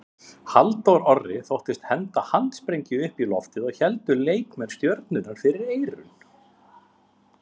Halldór Orri þóttist henda handsprengju upp í loftið og leikmenn Stjörnunnar héldu fyrir eyrun.